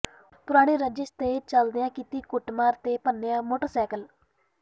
ਪੁਰਾਣੀ ਰੰਜ਼ਿਸ਼ ਦੇ ਚੱਲਦਿਆਂ ਕੀਤੀ ਕੁੱਟਮਾਰ ਤੇ ਭੰਨਿਆ ਮੋਟਰਸਾਈਕਲ